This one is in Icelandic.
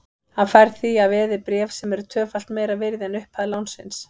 Hann fær því að veði bréf sem eru tvöfalt meira virði en upphæð lánsins.